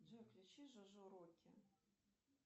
джо включи жожо рокки